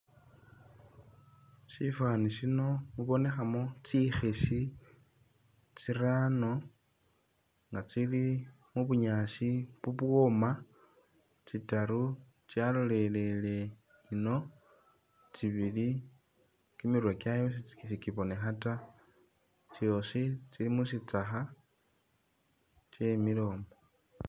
Syifwaani syino mubonekhamu tsikhisi tsirano nga tsili mu bunyaasi bubwoma, tsitaru tsyalolele ino tsibili kimirwe kyayo sikibonekha ta. Tsyoosi tsili mu shitsakha tsyemile umwo.